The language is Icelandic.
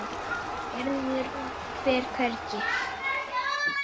Gerður fer hvergi.